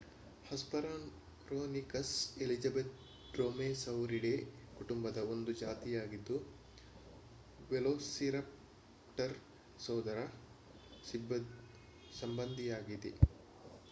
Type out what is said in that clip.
hesperonychus elizabethae dromaeosauridae ಕುಟುಂಬದ ಒಂದು ಜಾತಿಯಾಗಿದ್ದು ವೆಲೋಸಿರಪ್ಟರ್ ಸೋದರ ಸಂಬಂಧಿಯಾಗಿದೆ